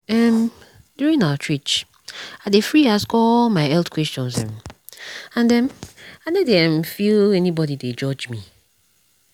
emduring outreach i dey free ask all my health questions um and um i no dey um feel say anybody dey judge me.